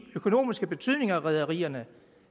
økonomiske betydning af rederierne